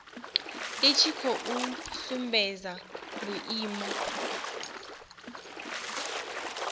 i tshi khou sumbedza vhuimo